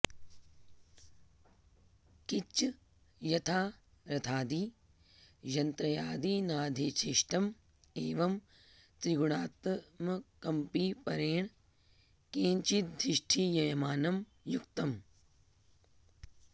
किञ्च यथा रथादि यंत्र्यादिनाधिष्ठितं एवं त्रिगुणात्मकमपि परेण केनचिदधिष्ठीयमानं युक्तम्